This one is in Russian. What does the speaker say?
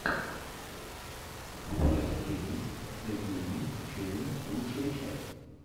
фреш геймс зэ геймин ченел лучшая часть